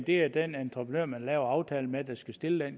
det er den entreprenør man laver aftalen med der skal stille